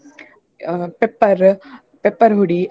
ಅಹ್ pepper pepper ಹುಡಿ.